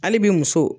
Hali bi muso